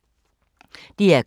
DR K